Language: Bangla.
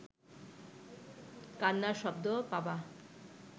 কান্নার শব্দ পাবা